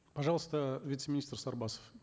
пожалуйста вице министр сарбасов